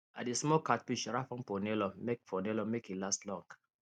i dey smoke catfish wrap am for nylon make for nylon make e last long